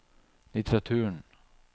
litteraturen